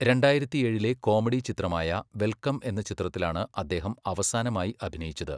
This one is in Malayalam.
രണ്ടായിരത്തിയേഴിലെ കോമഡി ചിത്രമായ വെൽക്കം എന്ന ചിത്രത്തിലാണ് അദ്ദേഹം അവസാനമായി അഭിനയിച്ചത്.